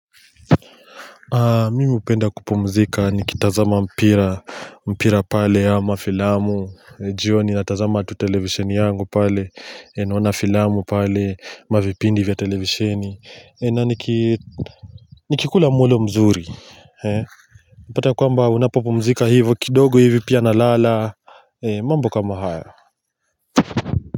Mimi hupenda kupumzika nikitazama mpira mpira pale ama filamu jioni natazama tu televisheni yangu pale naona filamu pale mavipindi vya televisheni na nikikula mulo mzuri Unapata kwamba unapopumzika hivo kidogo hivi pia nalala mambo kama hayo.